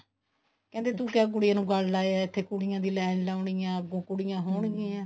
ਕਹਿੰਦੇ ਤੂੰ ਕਿਉਂ ਕੁੜੀਆਂ ਨੂੰ ਗਲ ਲਾਇਆ ਇੱਥੇ ਕੁੜੀਆਂ ਦੀ ਲਾਈਨ ਲਾਉਣੀ ਆ ਅੱਗੋਂ ਕੁੜੀਆਂ ਹੋਣਗੀਆਂ